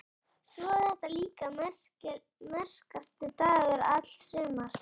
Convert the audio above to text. Svo var þetta líka einn merkasti dagur alls sumarsins.